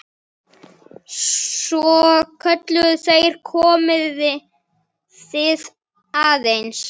Svo kölluðu þeir: Komiði aðeins!